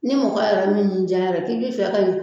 Ni mɔgɔ yɛrɛ min y'i ja yɛrɛ k'i bi fɛ ka